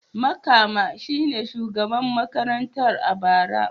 Makama shi ne shugaban makarantar a bara.